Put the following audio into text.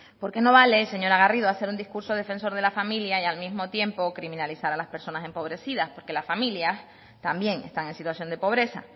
porque no vale señora garrido hacer un discurso defensor de la familia y al mismo tiempo criminalizar a las personas empobrecidas porque las familias también están en situación de pobreza